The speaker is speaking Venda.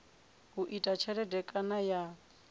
u ita tshelede kana ya